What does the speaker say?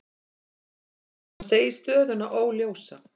Hann segir stöðuna óljósa.